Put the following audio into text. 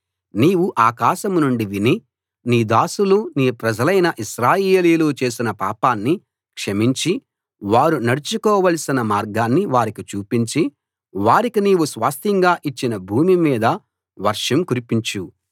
నీవు ఆకాశం నుండి విని నీ దాసులు నీ ప్రజలైన ఇశ్రాయేలీయులు చేసిన పాపాన్ని క్షమించి వారు నడుచుకోవలసిన మార్గాన్ని వారికి చూపించి వారికి నీవు స్వాస్థ్యంగా ఇచ్చిన భూమి మీద వర్షం కురిపించు